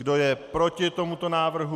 Kdo je proti tomuto návrhu?